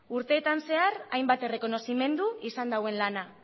urteetan zehar hainbat errekonozimendu izan duen lana